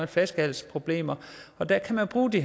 flaskehalsproblemer og der kan man bruge de